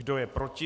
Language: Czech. Kdo je proti?